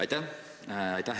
Aitäh!